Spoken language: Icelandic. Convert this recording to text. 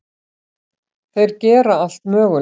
Þeir gera allt mögulegt.